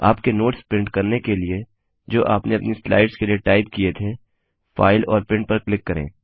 आपके notes print करने के लिए जो आपने अपनी स्लाइड्स के लिए टाइप किए थे फाइल और प्रिंट पर क्लिक करें